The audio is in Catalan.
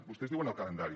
vostès diuen el calendari